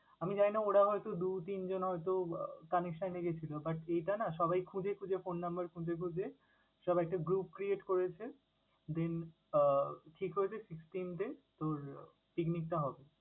আমি জানিনা ওরা হয়তো দু তিনজন হয়তো connection রেখেছিলো but এটা না সবাই খুঁজে খুঁজে phone number খুঁজে খুঁজে সবাইকে group create করেছে। Then আহ ঠিক হয়েছে sixteenth day তোর picnic টা হবে।